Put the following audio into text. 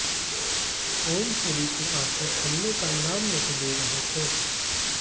ओमपुरी के आंसू थमने का नाम नहीं ले रहे थे